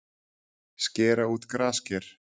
Skera út grasker